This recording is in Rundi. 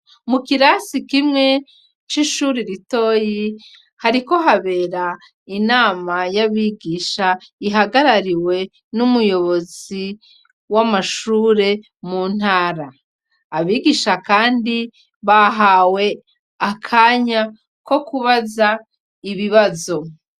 Mu kirasi kimwe c'ishuri ritoyi hariko habera inama y'abigisha ihagarariwe n'umuyobozi w'amashure mu ntara, abigisha kandi bahawe akanya ko kubaza ibibazo.